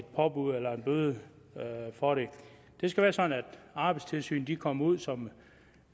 påbud eller en bøde for det det skal være sådan at arbejdstilsynet kommer ud som